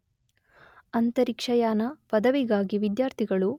ಅಂತರಿಕ್ಷಯಾನ ಪದವಿಗಾಗಿ ವಿದ್ಯಾರ್ಥಿಗಳು